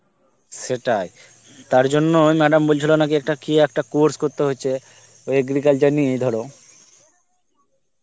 সেটাই. তার জন্যই madam বলছিল একটা কি একটা course করতে হয়েছে agriculture নিয়ে ধর